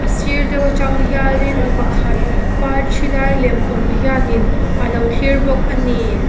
sir deuh atang hianin mi pakhat parthi lai lem awm hianin alo thlir bawk a ni.